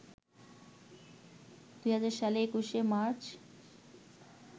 ২০০০ সালের ২১শে মার্চ